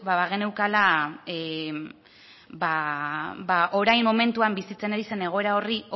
bageneukala orain momentuan bizitzen ari zen egoera horri